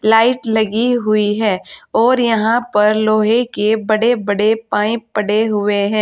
Light लगी हुई है और यहां पर लोहे के बड़े बड़े पाइप पड़े हुए हैं।